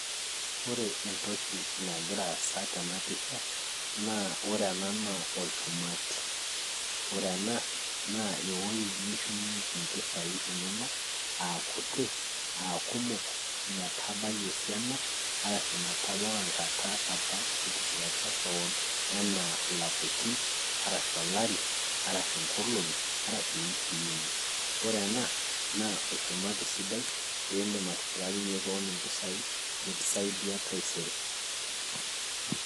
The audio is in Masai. ore entoki nagira aasa tenapisha naa ore ena naa olchumati ore ena naa ewoi nishumie impisai inonok akuti akumok metabai esiana arashu metabau enkata apa nitipikaka kewon anaa ilapaitin arashu olari arashu inkolong 'arashu iwikii inye ore ena naa olchumati sidai lindim atipikakinyie kewon impisaoi niki saidia taisere.